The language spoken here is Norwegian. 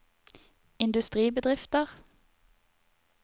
industribedrifter